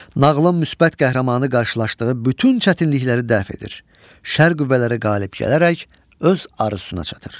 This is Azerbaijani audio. Nağılın müsbət qəhrəmanı qarşılaşdığı bütün çətinlikləri dəf edir, şər qüvvələri qalib gələrək öz arzusuna çatır.